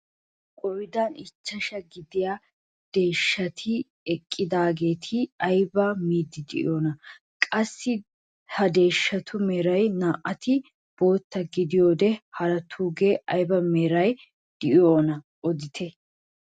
Qoodan ichchashshaa gidiyaa deeshshati eqqidaageti aybaa miidi de'iyoonaa? qassi ha deshshatu meray naa"ati bootta giddiyoode haraatugee ayba meraara de'iyoonaa odite?